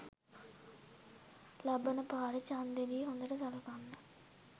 ලබන පාර චන්දෙදි හොඳට සළකන්න